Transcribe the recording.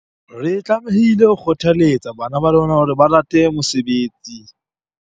Re tlamehile ho kgothaletsa bana ba rona hore ba rate mosebetsi.